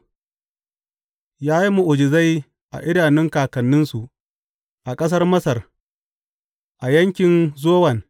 Ya yi mu’ujizai a idanun kakanninsu a ƙasar Masar, a yankin Zowan.